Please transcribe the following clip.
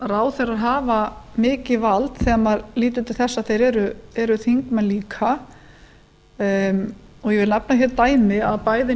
ráðherrar hafa mikið vald þegar maður lítur til þess að þeir eru þingmenn líka og ég vil nefna dæmi að bæði